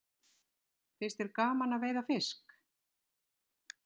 Finnst þér gaman að veiða fisk?